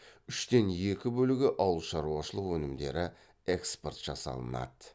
үштен екі бөлігі ауылшаруашылқ өнімдері экспорт жасалынады